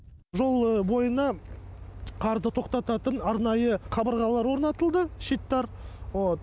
жол бойына қарды тоқтататын арнайы қабырғалар орнатылды щиттар вот